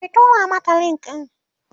ki tura mata link ɗin!